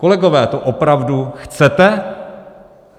Kolegové, to opravdu chcete?